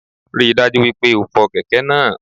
Ríi dájú wípé o fo kèké náá